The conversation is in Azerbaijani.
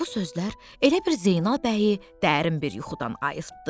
Bu sözlər elə bir Zeynal bəyi dərin bir yuxudan ayıltdı.